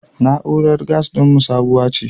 Na'urar gas ɗinmu sabuwa ce.